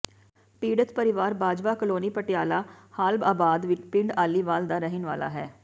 ਪੀਡ਼ਤ ਪਰਿਵਾਰ ਬਾਜਵਾ ਕਲੋਨੀ ਪਟਿਆਲਾ ਹਾਲ ਅਬਾਦ ਪਿੰਡ ਆਲੀਵਾਲ ਦਾ ਰਹਿਣ ਵਾਲਾ ਹੈ